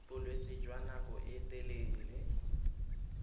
bolwetse jwa nako e telele